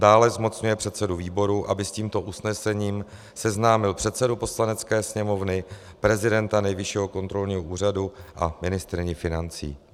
Dále, zmocňuje předsedu výboru, aby s tímto usnesením seznámil předsedu Poslanecké sněmovny, prezidenta Nejvyššího kontrolního úřadu a ministryni financí.